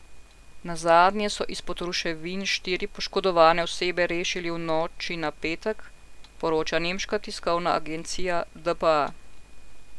Nazadnje so izpod ruševin štiri poškodovane osebe rešili v noči na petek, poroča nemška tiskovna agencija dpa.